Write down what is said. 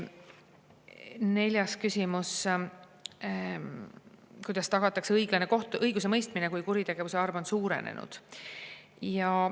Neljas küsimus: "Kuidas tagatakse õiglane õigusemõistmine, kui kuritegevuse arv on suurenenud?